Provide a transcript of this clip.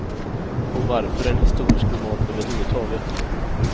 Och varför en historisk roman överhuvudtaget?